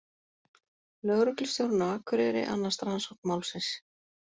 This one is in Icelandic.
Lögreglustjórinn á Akureyri annast rannsókn málsins